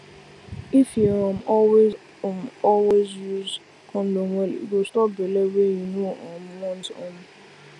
if you um always um always use condom well e go stop belle wey you no um want um